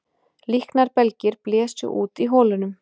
Líknarbelgir blésu út í holunum